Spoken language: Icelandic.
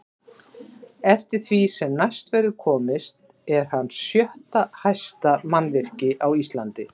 Eftir því sem næst verður komist er hann sjötta hæsta mannvirki á Íslandi.